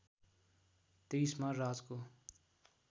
२३ मा राजको